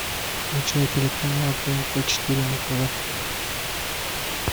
включай телеканал тнт четыре на тв